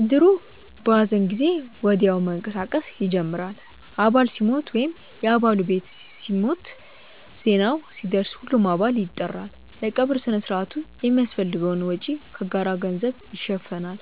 እድሩ በሐዘን ጊዜ ወዲያው መንቀሳቀስ ይጀምራል። አባል ሲሞት ወይም የ አባሉ ቤተሰብ ሲሞት፣ ዜናው ሲደርስ ሁሉም አባል ይጠራል። ለቀብር ሥነ ሥርዓቱ የሚያስፈልገውን ወጪ ከጋራ ገንዘብ ይሸፈናል።